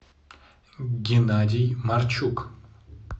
геннадий марчук